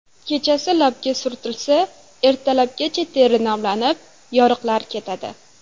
Kechasi labga surtilsa, ertalabgacha teri namlanib, yoriqlar ketadi.